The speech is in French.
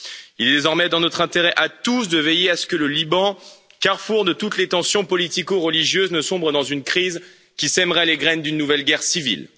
Il est désormais dans notre intérêt à tous de veiller à ce que le Liban, carrefour de toutes les tensions politico religieuses, ne sombre dans une crise qui sèmerait les graines d'une nouvelle guerre civile.